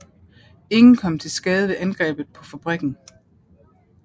Ingen kom til skade ved angrebet på fabrikken